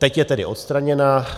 Teď je tedy odstraněna.